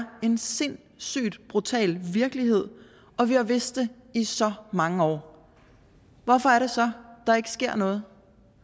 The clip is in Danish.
en sindssygt brutal virkelighed og vi har vidst det i så mange år hvorfor er det så der ikke sker noget